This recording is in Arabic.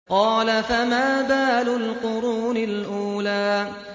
قَالَ فَمَا بَالُ الْقُرُونِ الْأُولَىٰ